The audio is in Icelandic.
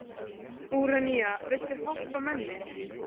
Úranía, viltu hoppa með mér?